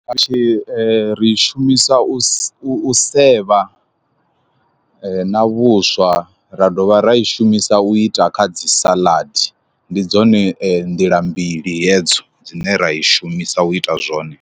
Tshi ri i shumisa u u sevha na vhuswa ra dovha ra i shumisa u ita kha dzi saḽadi ndi dzone nḓila mbili hedzo dzine ra i shumisa u ita zwone.